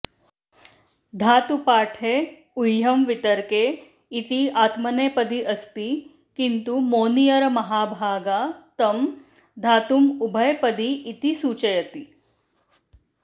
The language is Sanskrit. धातुपाठे ऊहँ वितर्के इति आत्मनेपदी अस्ति किन्तु मोनियरमहाभागा तं धातुमुभयपदी इति सूचयति